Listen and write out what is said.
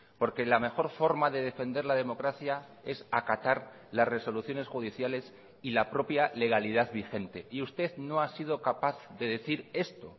porque la mejor forma de defender la democracia es acatar las resoluciones judiciales y la propia legalidad vigente y usted no ha sido capaz de decir esto